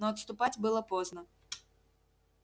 но отступать было поздно